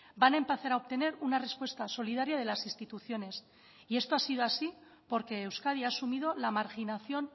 van a empezar a obtener una respuesta solidaria de las instituciones y esto ha sido así porque euskadi ha asumido la marginación